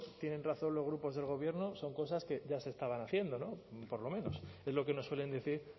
tienen razón los grupos del gobierno son cosas que ya se estaban haciendo por lo menos es lo que nos suelen decir